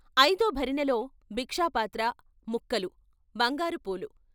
ఐదో భరిణెలో భిక్షాపాత్ర ముక్కలు, బంగారు పూలు.